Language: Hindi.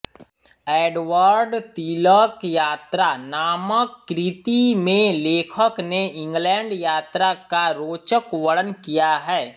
एडवर्डतिलकयात्रा नामक कृति में लेखक ने इंग्लैंडयात्रा का रोचक वर्णन किया है